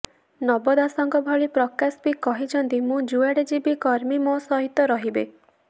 ନବ ଦାସଙ୍କ ଭଳି ପ୍ରକାଶ ବି କହିଛନ୍ତି ମୁଁ ଯୁଆଡେ ଯିବି କର୍ମୀ ମୋ ସହିତ ରହିବେ